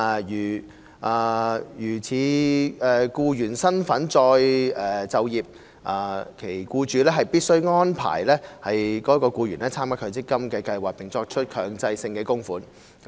如以僱員身份再就業，其僱主必須安排該僱員參加強積金計劃並作出強制性供款。